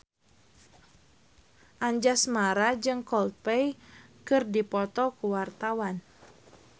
Anjasmara jeung Coldplay keur dipoto ku wartawan